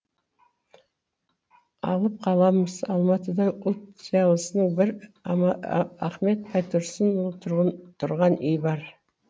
алып қаламыз алматыда ұлт зиялысының бір ахмет байтұрсынұлы тұрған үй бар